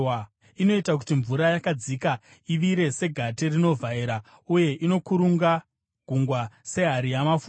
Inoita kuti mvura yakadzika ivire segate rinovhaira, uye inokurunga gungwa sehari yamafuta.